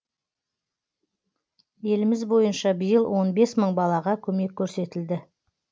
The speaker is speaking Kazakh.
еліміз бойынша биыл он бес мың балаға көмек көрсетілді